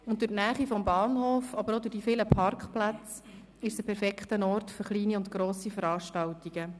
Durch die Nähe zum Bahnhof, aber auch durch die vielen Parkplätze ist es ein perfekter Ort für kleine und grosse Veranstaltungen.